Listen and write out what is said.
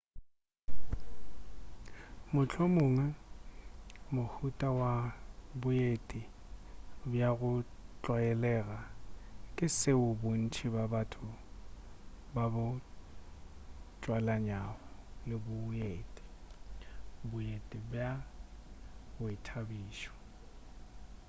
mohlomongwe mohuta wa boeti bja go tlwaelaga ke seo bontši bja batho ba bo tswalanyago le boeti boeti bja boithabišo